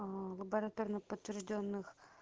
лабораторно подтверждённых